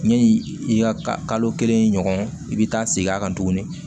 Yani i ka kalo kelen ɲɔgɔn i bɛ taa segin a kan tuguni